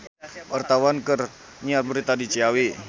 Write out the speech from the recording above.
Wartawan keur nyiar berita di Ciawi